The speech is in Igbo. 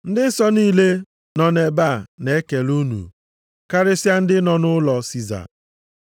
Ndị nsọ niile nọ nʼebe a na-ekele unu, karịsịa ndị nọ nʼụlọ Siza.